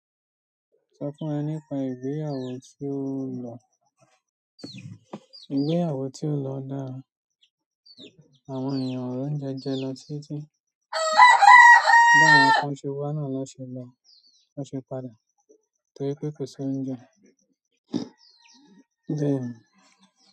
Sọ fún ẹ nípa ìgbéyàwó tí ó lọ ìgbéyàwó tí ó lọ dára àwọn ènìyàn ọ̀rọ̀ ń jẹjẹ lọ títí bá àwọn kan ṣe wá náà ló ṣe lọ ló ṣe padà torí pé kò sí oúnjẹ. Òdí òún.